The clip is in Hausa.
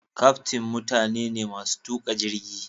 kyaftin mutane ne masu tuka jirgi.